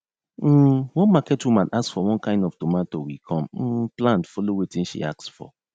um one market woman ask for one kain of tomato we come um plant follow watin she ask for